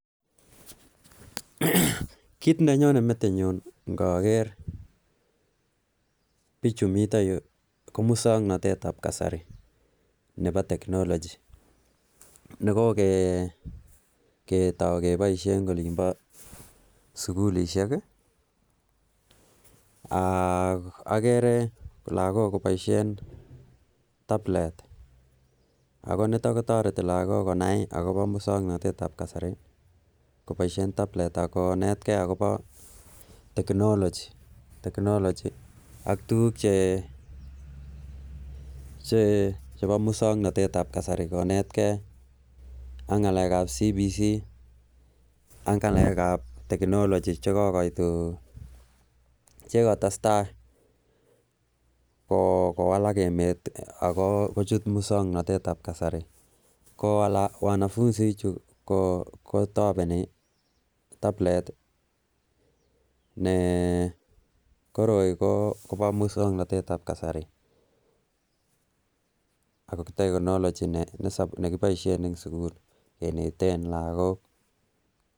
Kit nenyonen metinyun ngoger bik chemiten yukoketoy en sugul ishek agere logok kiboishen tablet toreti logok muswongnotet tab kasari konetkey akobo technology muswongnotet tab kasari ngalek kab CBC ak ngalek gab technology kowalak emet wanafunsichu koroi ko muswongnotet tab kasari ak technology nekineten logok